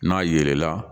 N'a yelenna